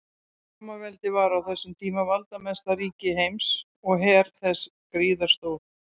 Rómaveldi var á þessum tíma valdamesta ríki heims og her þess gríðarstór.